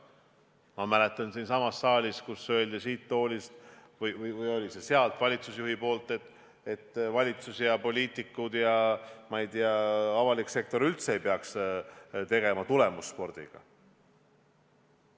Ma mäletan siinsamas saalis, kui öeldi siit toolist või tuli see sealt, valitsusjuhi poolt, et valitsus ja poliitikud ja ma ei tea, avalik sektor üldse ei peaks tegelema tulemusspordiga.